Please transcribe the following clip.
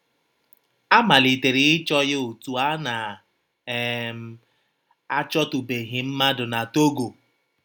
A malitere ịchọ ya otú a na - um achọtụbeghị mmadụ na Togo.